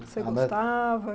Você gostava?